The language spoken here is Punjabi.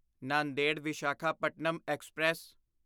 ਨਾਂਦੇੜ ਵਿਸ਼ਾਖਾਪਟਨਮ ਐਕਸਪ੍ਰੈਸ